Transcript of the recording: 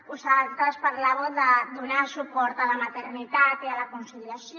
vosaltres parlàveu de donar suport a la maternitat i a la conciliació